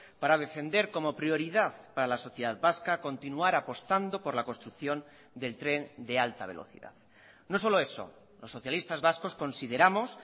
para defender como prioridad para la sociedad vasca continuar apostando por la construcción del tren de alta velocidad no solo eso los socialistas vascos consideramos